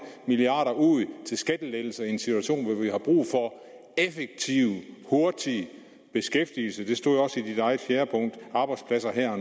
milliarder kroner ud til skattelettelser i en situation hvor vi har brug for effektiv hurtig beskæftigelse det stod også i dit eget fjerde punkt arbejdspladser her